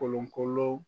Kolon kolon